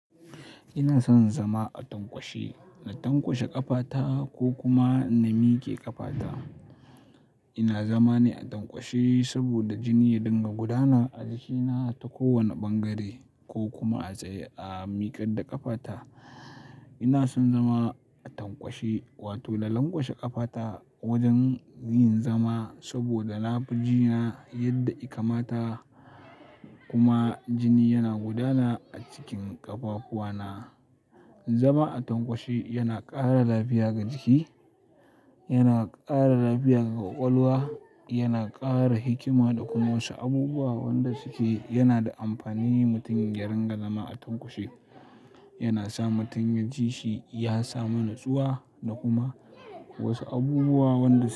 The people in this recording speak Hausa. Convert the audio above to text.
Ina son zama a tankwashe, na tankwashe ƙafata ko kuma na mike ƙafata. Ina zama ne a tankwashe saboda jini ya dinga gudana a jikina ta kowane ɓangare ko kuma a tsaye a mikar da ƙafata. Ina son zama a tankwashe wato na langwashe ƙafata wajen yin zama saboda na fi jina yadda i kamata kuma jini yana gudana a cikin ƙafafuwana. Zama a tankwashe yana ƙara lafiya ga jiki, yana ƙara lafiya ga ƙwaƙwalwa, yana ƙara hikima da kuma wasu abubuwa wanda suke yana da amfani mutum yaren ga zama a tankwashe. Yana sa mutum ya ji shi ya samu natsuwa da kuma wasu abubuwa wanda su-